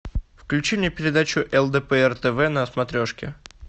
включи мне передачу лдпр тв на смотрешке